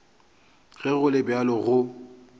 ge go le bjalo go